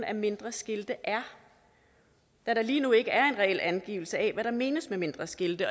af mindre skilte er da der lige nu ikke er en reel angivelse af hvad der menes med mindre skilte